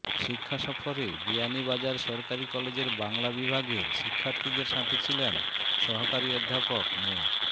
শিক্ষাসফরে বিয়ানীবাজার সরকারি কলেজের বাংলা বিভাগের শিক্ষার্থীদের সাথে ছিলেন সহকারী অধ্যাপক মো